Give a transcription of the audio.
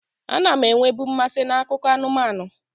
A na m enwebu mmasị n'akụkọ anụmanụ.